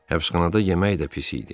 Həbsxanada yemək də pis idi.